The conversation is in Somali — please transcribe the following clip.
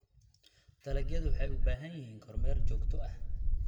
Dalagyadu waxay u baahan yihiin kormeer joogto ah.